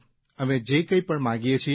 અમે જે કંઇ પણ માંગીએ છીએ